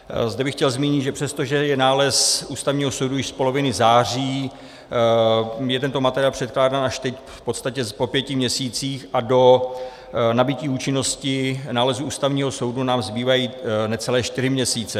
Zde bych chtěl zmínit, že přestože je nález Ústavního soudu už z poloviny září, je tento materiál předkládán až teď, v podstatě po pěti měsících, a do nabytí účinnosti nálezu Ústavního soudu nám zbývají necelé čtyři měsíce.